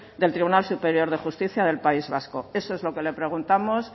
del tribunal superior de justicia del país vasco eso es lo que le preguntamos